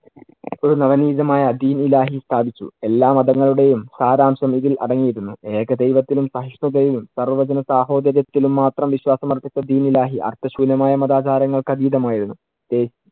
യുദ്ധമായ ദിൻ ഇലാഹി സ്ഥാപിച്ചു. എല്ലാ മതങ്ങളുടെയും സാരാംശം ഇതിൽ അടങ്ങിയിരുന്നു. ഏക ദൈവത്തിലും സഹിഷ്ണുതയിലും സർവജനസഹോദര്യത്തിലും മാത്രം വിശ്വാസം അർപ്പിച്ച ദിൻ ഇലാഹി അർത്ഥശൂന്യമായ മതാചാരങ്ങൾക്ക് അതീതമായിരുന്നു.